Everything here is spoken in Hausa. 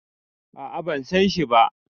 a a ban San shi ba